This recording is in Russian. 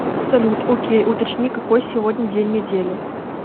салют окей уточни какой сегодня день недели